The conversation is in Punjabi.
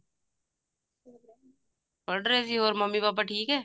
ਪੜ੍ਹ ਰਹੇ ਸੀ ਹੋਰ ਮੰਮੀ ਪਾਪਾ ਠੀਕ ਐ